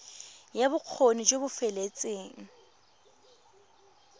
ya bokgoni jo bo feteletseng